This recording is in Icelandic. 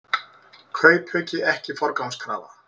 Kaupauki ekki forgangskrafa